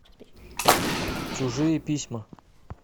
чужие письма